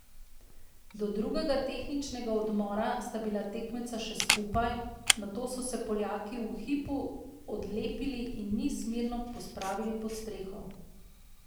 Do drugega tehničnega odmora sta bila tekmeca še skupaj, nato so se Poljaki v hipu odlepili in niz mirno pospravili pod streho.